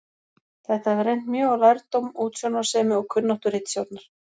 Þetta hefur reynt mjög á lærdóm, útsjónarsemi og kunnáttu ritstjórnar.